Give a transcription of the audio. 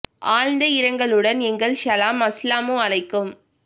ஆழ்ந்த இரங்கலுடன் எங்கள் ஸலாம் அஸ்ஸலாமு அலைக்கும்